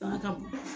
Fanga ka bon